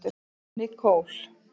Nicole